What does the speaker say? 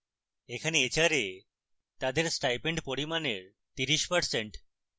এখানে hra তাদের stipend পরিমাণের 30%